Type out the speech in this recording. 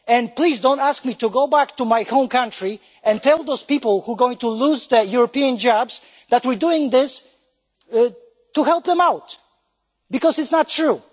Please don't ask me to go back to my home country and tell those people who are going to lose their European jobs that we are doing this to help them out, because it is not true.